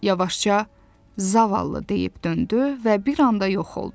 O yavaşca zavallı deyib döndü və bir anda yox oldu.